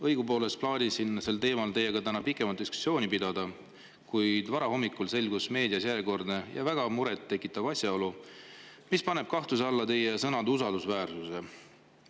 Õigupoolest plaanisin siin täna sel teemal teiega pikemat diskussiooni pidada, kuid varahommikul selgus meediast järjekordne väga muret tekitav asjaolu, mis paneb kahtluse alla teie sõnade usaldusväärsuse.